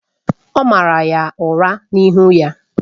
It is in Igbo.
O maara ya ụra n’ihi iwe.